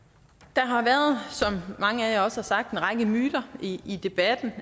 der har været som mange af jer også har sagt en række myter i i debatten